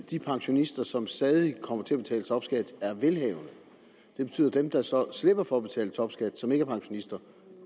de pensionister som stadig kommer til at betale topskat er velhavende det betyder at dem der så slipper for at betale topskat og som ikke er pensionister